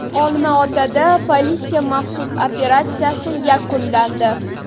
Olmaotada politsiya maxsus operatsiyasi yakunlandi.